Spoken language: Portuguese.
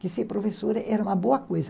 Que ser professora era uma boa coisa.